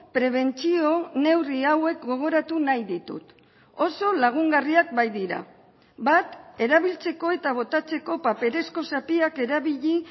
prebentzio neurri hauek gogoratu nahi ditut oso lagungarriak baitira bat erabiltzeko eta botatzeko paperezko zatiak erabili